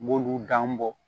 N b'olu dan bɔ